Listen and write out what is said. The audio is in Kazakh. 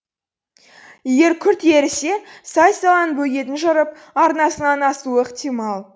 егер күрт ерісе сай саланың бөгетін жырып арнасынан асуы ықтимал